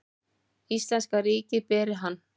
Íslenska ríkið beri hann.